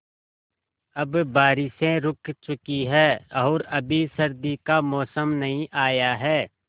अब बारिशें रुक चुकी हैं और अभी सर्दी का मौसम नहीं आया है